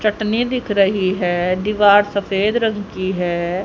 चटने दिख रही है दीवार सफेद रंग की है।